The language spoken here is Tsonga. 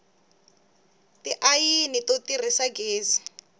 tiayini to tirhisa gezi